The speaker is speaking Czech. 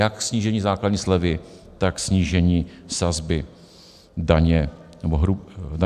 Jak snížení základní slevy, tak snížení sazby daně z hrubé mzdy.